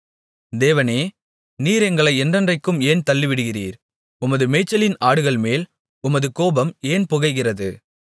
தேவனே நீர் எங்களை என்றென்றைக்கும் ஏன் தள்ளிவிடுகிறீர் உமது மேய்ச்சலின் ஆடுகள்மேல் உமது கோபம் ஏன் புகைகிறது